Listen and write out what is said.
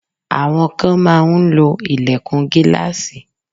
Àwọn kan máa ń lo ìlẹ̀kùn gíláàsì.